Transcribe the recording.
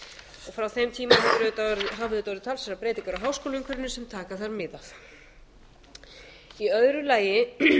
frá þeim tíma hafa auðvitað orðið talsverðar breytingar á háskólaumhverfinu sem taka þarf mið af í öðru lagi